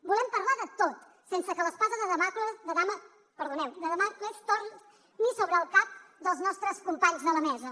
volem parlar de tot sense que l’espasa de dàmocles torni sobre el cap dels nostres companys de la mesa